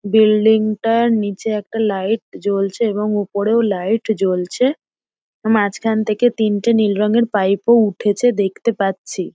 বিল্ডিংটার নিচে একটা লাইট জ্বলছে এবং ওপরে লাইট জ্বলছে মাঝখান থেকে তিনটে নীল রঙের পাইপো উঠেছে দেখতে পাচ্ছি।